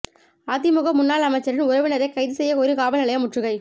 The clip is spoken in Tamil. அதிமுக முன்னாள் அமைச்சரின் உறவினரை கைது செய்யக் கோரி காவல்நிலையம் முற்றுகை